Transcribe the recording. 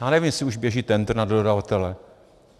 Já nevím, jestli už běží tendr na dodavatele.